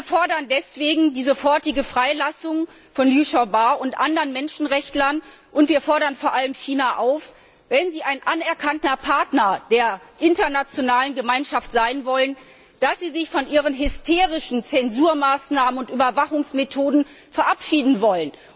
Wir fordern deswegen die sofortige Freilassung von Liu Xiaobao und von anderen Menschenrechtlern, und wir fordern vor allem China auf wenn es ein anerkannter Partner der internationalen Gemeinschaft werden möchte dass es sich von seinen hysterischen Zensurmaßnahmen und Überwachungsmethoden verabschieden soll.